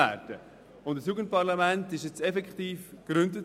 Ein Jugendparlament wurde nun effektiv gegründet.